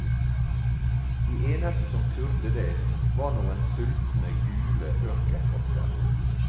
De eneste som turde det, var noen sultne, gule ørkenrotter.